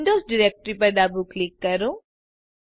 Windows directoryપર ડાબું click કરો